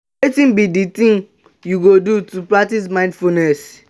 wetin be di thing you go do to practice mindfulness?